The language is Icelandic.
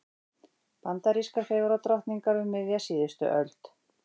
Bandarískar fegurðardrottningar um miðja síðustu öld.